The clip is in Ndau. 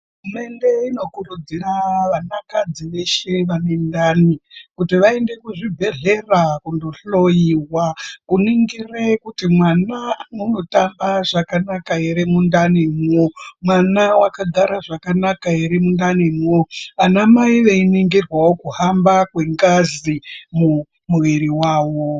Hurumende inokurudzira vanakadzi veshe vane ndani , kuti vaende kuzvibhedhlera kohloiwa. Kuningire kuti mwana unotamba zvakanaka ere mundani mwo .Mwana wakagara zvakanaka ere mundanimwo. Ana mai veiningirwawo kuhamba kengazi mumuviri wavo.